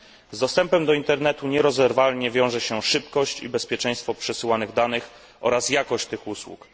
Z dostępem do internetu nierozerwalnie wiąże się szybkość i bezpieczeństwo przesyłanych danych oraz jakość tych usług.